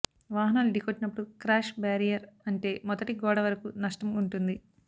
వాహనాలు ఢీకొట్టినప్పుడు crash barrier అంటే మొదటి గోడవరకు నష్టం ఉంటుంది